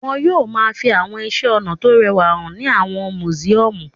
Wọn yóò máa fi àwọn iṣẹ́-ọnà tó rẹwà hàn ní àwọn mùsíọ́mù.